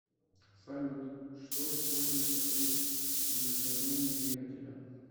салют что используется при удешевлении двигателя